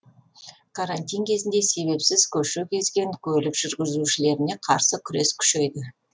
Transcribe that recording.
карантин кезінде себепсіз көше кезген көлік жүргізушілеріне қарсы күрес күшейді